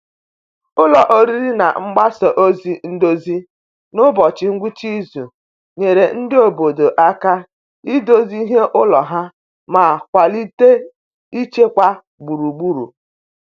Ụlọ oriri na mgbasa ozi ndozi n’ụbọchị ngwụsị izu nyere ndị obodo aka idozi ihe ụlọ ha ma kwalite ịchekwa gburugburu.